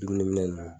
Dumuni minɛ